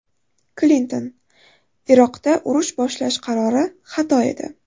Klinton: Iroqda urush boshlash qarori xato edi.